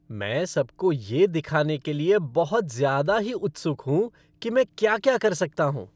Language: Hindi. मैं सबको ये दिखाने के लिए बहुत ज़्यादा ही उत्सुक हूँ कि मैं क्या क्या कर सकता हूँ।